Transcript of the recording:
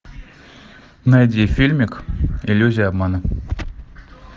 найди фильмик иллюзия обмана